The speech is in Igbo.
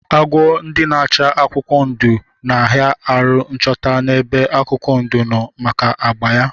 Agwọ ndi n'acha akwụkwọ ndụ na aha aru nchọta na ebe akwụkwọ ndụ nno maka agba ya.